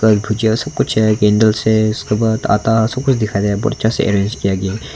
भुजिया सब कुछ है कैंडल्स है इसके बाद आटा सब कुछ दिखाई दे रहा है बहुत अच्छा से अरेंज किया गया है।